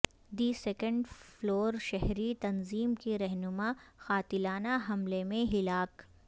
دی second floor شہری تنظیم کی رہنما قاتلانہ حملے میں ہلاک